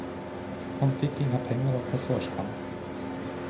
Han fick inga pengar av kassörskan.